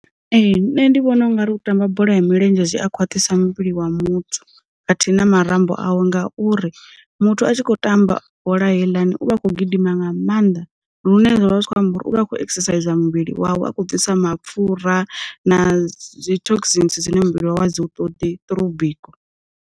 Ee nṋe ndi vhona ungari u tamba bola ya milenzhe zwi a khwaṱhisa muvhili wa muthu, khathihi na marambo awe ngauri muthu a tshi khou tamba bola heiḽani, u vha a kho gidima nga maanḓa lune zwavha zwi kho amba uri uvha a kho exercise muvhili wawe a khou bvisa mapfura, na dzi thoksinsi nnzhi dzine muvhili wa dzi u ṱoḓi throung biko.